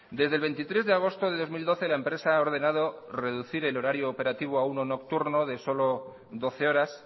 desde el veintitrés de agosto de dos mil doce la empresa ha ordenado reducir el horario operativo a uno nocturno de solo doce horas